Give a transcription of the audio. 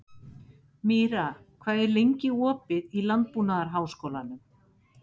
Míra, hvað er lengi opið í Landbúnaðarháskólanum?